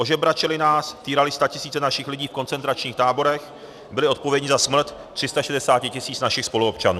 Ožebračili nás, týrali statisíce našich lidí v koncentračních táborech, byli odpovědní za smrt 360 tisíc našich spoluobčanů.